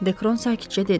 Dekron sakitcə dedi.